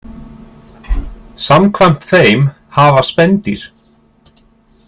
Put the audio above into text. Samkvæmt þeim hafa spendýr.